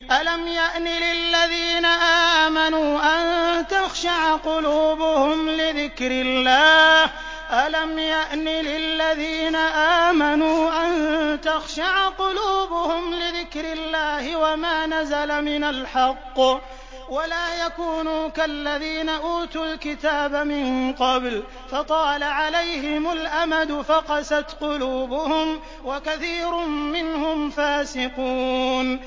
۞ أَلَمْ يَأْنِ لِلَّذِينَ آمَنُوا أَن تَخْشَعَ قُلُوبُهُمْ لِذِكْرِ اللَّهِ وَمَا نَزَلَ مِنَ الْحَقِّ وَلَا يَكُونُوا كَالَّذِينَ أُوتُوا الْكِتَابَ مِن قَبْلُ فَطَالَ عَلَيْهِمُ الْأَمَدُ فَقَسَتْ قُلُوبُهُمْ ۖ وَكَثِيرٌ مِّنْهُمْ فَاسِقُونَ